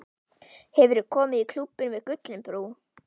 Hefurðu komið í Klúbbinn við Gullinbrú?